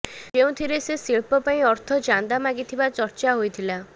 ଯେଉଁଥିରେ ସେ ଶିଳ୍ପ ପାଇଁ ଅର୍ଥ ଚାନ୍ଦା ମାଗିଥିବା ଚର୍ଚା ହୋଇଥିଲା